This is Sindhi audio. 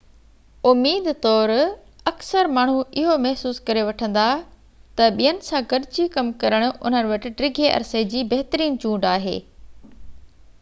اميد طور اڪثر ماڻهو اهو محسوس ڪري وٺندا ته ٻين سان گڏجي ڪم ڪرڻ انهن وٽ ڊگهي عرصي جي بهترين چونڊ آهي